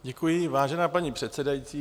Děkuji, vážená paní předsedající.